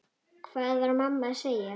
Hvað var mamma að segja?